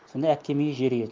сонда әпкем үйі жер үй еді